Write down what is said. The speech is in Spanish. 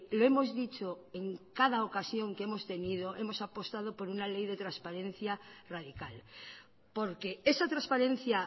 lo hemos dicho en cada ocasión que hemos tenido hemos apostado por una ley de transparencia radical porque esa transparencia